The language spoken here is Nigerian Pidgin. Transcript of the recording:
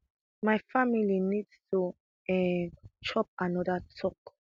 my family need to um chop anoda tok